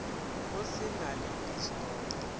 go se na le distopo